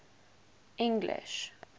english